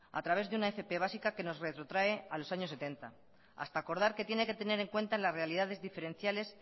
a través de una fp básica que nos retrotrae a los año setenta hasta acordar que tiene que tener en cuenta las realidades diferenciales